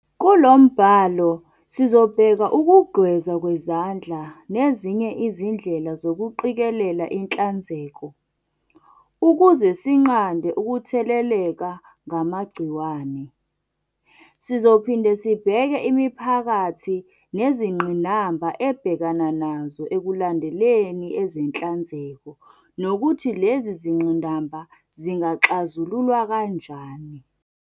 Kulo mbhalo sizobheka ukugezwa kwezandla nezinye izindlela zokuqikelela inhlanzeko, ukuzesinqande ukutheleleka ngamagciwane. Sizophinde sibheke imiphakathi nezingqinamba ebhekana nazo ekulandeleni ezenhlanzeko nokuthi lezi zingqinamba zingaxazululwa kanjani.